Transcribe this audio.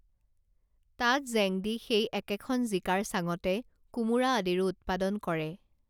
তাত জেংদি সেই একেখন জিকাৰ চাঙতে কোমোৰা আদিৰো উৎপাদন কৰে